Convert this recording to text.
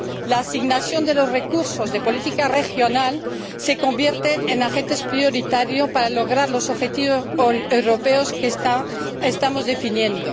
La asignación de los recursos de política regional se convierte en agente prioritario para lograr los objetivos europeos que estamos definiendo.